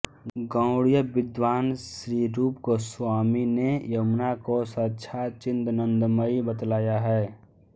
गौड़िय विद्वान श्री रूप गोस्वामी ने यमुना को साक्षात् चिदानंदमयी बतलाया है